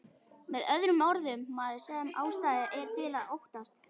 Með öðrum orðum, maður sem ástæða er til að óttast.